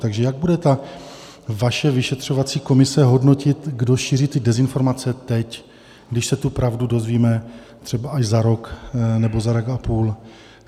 Takže jak bude ta vaše vyšetřovací komise hodnotit, kdo šíří ty dezinformace teď, když se tu pravdu dozvíme třeba až za rok, nebo za rok a půl?